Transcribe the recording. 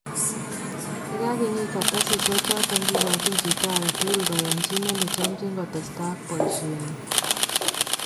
Yee kakinyiit kartasisyeek choton, kikochin chito aketukul kayanchinet nechomchin kotestai ak boisyeenyin